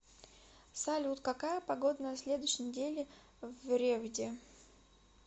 салют какая погода на следующей неделе в ревде